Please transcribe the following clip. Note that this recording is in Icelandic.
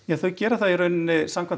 þau gera það samkvæmt